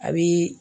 A bi